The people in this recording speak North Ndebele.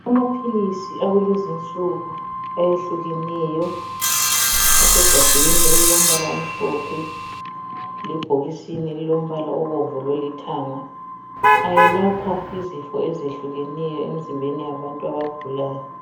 Amaphilisi akulezinsuku ayehluleneyo asegabheni elilombala omhlophe lebhokisini elilombala obomvu lolithanga ayelapha izifo ezehlukeneyo emzimbeni yabantu abagulayo.